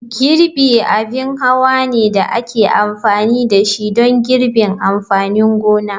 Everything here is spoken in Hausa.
Girbi abin hawa ne da ake amfani da shi don girbin amfanin gona.